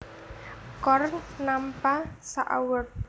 Korn nampa sak award